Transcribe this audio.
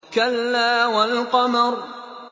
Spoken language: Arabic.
كَلَّا وَالْقَمَرِ